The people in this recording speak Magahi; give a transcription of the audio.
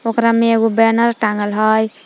ओकरा में एगो बैनर टांगल हइ ।